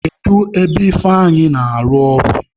Kedu ebe Ifeanyi na-arụ ọrụ?